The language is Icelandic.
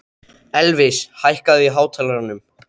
Elvis, hækkaðu í hátalaranum.